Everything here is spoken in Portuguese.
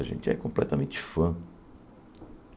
A gente é completamente fã.